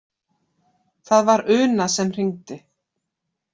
Það var Una sem hringdi.